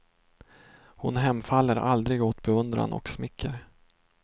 Hon hemfaller aldrig åt beundran och smicker.